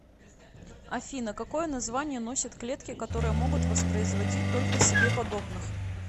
афина какое название носят клетки которые могут воспроизводить только себе подобных